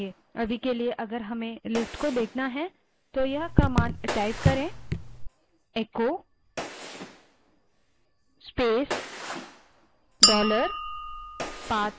अभी के लिए यदि हमें इस list को देखना है तो केवल echo space dollar path command type करें